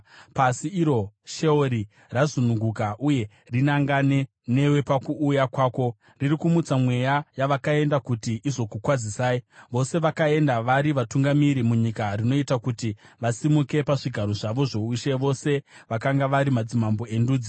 Pasi, iro sheori razungunuka kuti rinangane newe pakuuya kwako; riri kumutsa mweya yavakaenda kuti izokukwazisai, vose vakaenda vari vatungamiri munyika; rinoita kuti vasimuke pazvigaro zvavo zvoushe, vose vakanga vari madzimambo endudzi.